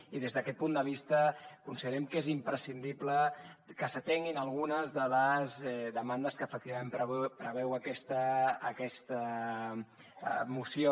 i des d’aquest punt de vista considerem que és imprescindible que s’atenguin algunes de les demandes que efectivament preveu aquesta moció